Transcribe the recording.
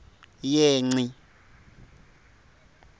yengci